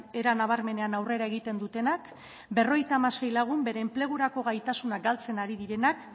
era nabarmenean aurrera egiten dutenak bere enplegurako gaitasunak galtzen ari direnak